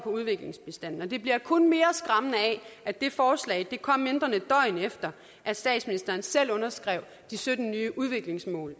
udviklingsbistanden og det bliver kun mere skræmmende af at det forslag kom mindre end et døgn efter at statsministeren selv underskrev de sytten nye udviklingsmål